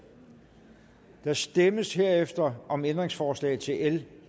der stemmes herefter om ændringsforslag til l